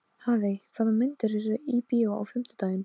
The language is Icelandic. Hafey, hvaða myndir eru í bíó á fimmtudaginn?